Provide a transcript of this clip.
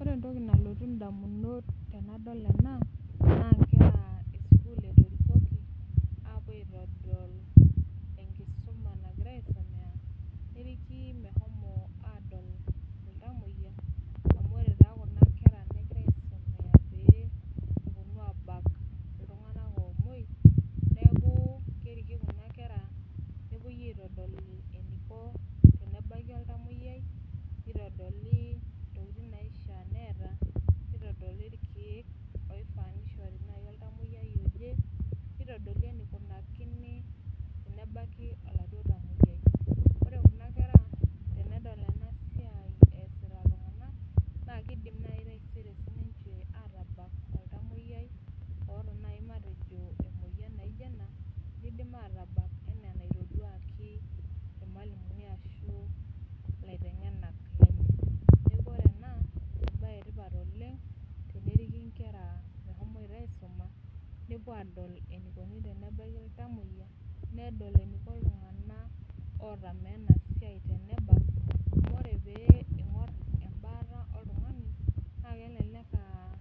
Ore entoki nalotu damunot tenadol ena naa nkera esukuul etorikoki, apu aitodolu enkisuma nagira aisomea. neriki mehomoi aadol iltamoyia. amu ore taa Kuna kera negira aisomea pee epuonu aabak iltunganak oomuoi. neeku keriki Kuna kera nepuoi aitdol eneiko tenebaki oltamoyiai. neitodoli, intokitin naishaa neeta. nitodoli irkeek, oifas nishori naaji oltamoyiai oje. nitodoli enikinakini tenebaki oladuoo tamoyiai. ore kuna kera tenedol ena siai eesita iltunganak, naa kidim naaji sii ninche taisere aatabak oltamoyiai. oota naaji matejo emoyian naijo ena. neidim aatabak matejo itoduaki ilmalimunina ashu ilaitengenak lenye. neekh ore ena ebae etipat oleng. teneriki nkera meshomoito aisuma. nepuo aadol enikoni tenebaki iltamoyia. nedol Niko iltunganak otamol ena siai tenebaki, amu ore pee ing'or ebaata oltungani naa kelelek aa